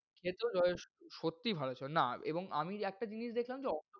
খেতেও যথেষ্ট, সত্যি ভালো ছিল। না এবং আমি একটা জিনিস দেখলাম যে,